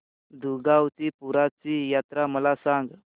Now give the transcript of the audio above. दुगावची पीराची यात्रा मला सांग